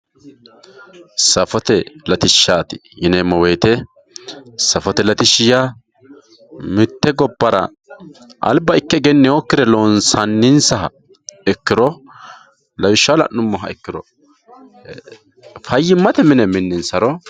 safote latishshaati yineemmo woyiite safote latishshi yaa mitte gobbara alba ikke egennewookkire loonsannisaha ikkiro lawishshaho la'nummoha ikkiro fayyimate mine minninsaro.